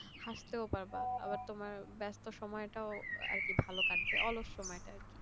হাসতেও পারবা আবার তোমার ব্যস্ত সময়টা ভালো কাটবে অলস সময়টা আর কি